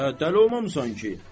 Hə, dəli olmamısan ki.